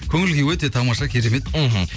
көңіл күй өте тамаша керемет мхм